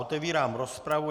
Otevírám rozpravu.